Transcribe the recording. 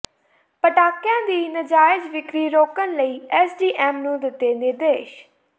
ਪਟਾਕਿਆਂ ਦੀ ਨਾਜਾਇਜ਼ ਵਿਕਰੀ ਰੋਕਣ ਲਈ ਐੱਸਡੀਐੱਮ ਨੂੰ ਦਿੱਤੇ ਨਿਰਦੇਸ਼